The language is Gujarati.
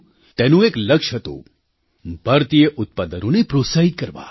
તેનું એક લક્ષ્ય હતું ભારતીય ઉત્પાદનોને પ્રોત્સાહિત કરવાં